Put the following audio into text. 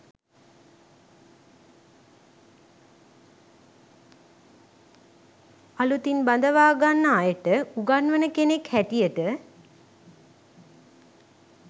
අළුතින් බඳවාගන්න අයට උගන්වන කෙනෙක් හැටියට